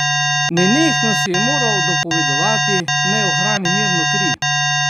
Nenehno si je moral dopovedovati, naj ohrani mirno kri.